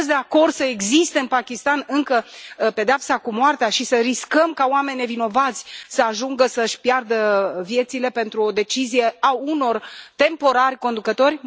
Sunteți de acord să existe în Pakistan încă pedeapsa cu moartea și să riscăm ca oameni nevinovați să ajungă să își piardă viețile, pentru o decizie a unor temporari conducători?